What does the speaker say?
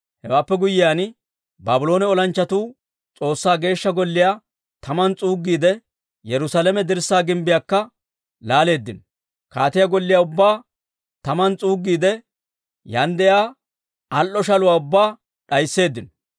Hewaappe guyyiyaan, Baabloone olanchchatuu S'oossaa Geeshsha Golliyaa taman s'uuggiide, Yerusaalame dirssaa gimbbiyaakka laaleeddino. Kaatiyaa golliyaa ubbaa taman s'uuggiide, yaan de'iyaa al"o shaluwaa ubbaa d'aysseeddino.